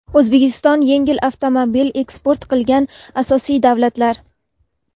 O‘zbekiston yengil avtomobil eksport qilgan asosiy davlatlar:.